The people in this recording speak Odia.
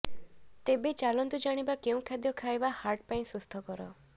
ତେବେ ଚାଲନ୍ତୁ ଜାଣିବା କେଉଁ ଖାଦ୍ୟ ଖାଇବା ହାର୍ଟ ପାଇଁ ସୁସ୍ଥକର